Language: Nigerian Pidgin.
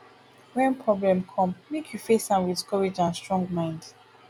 wen problem come make you face am with courage and strong mind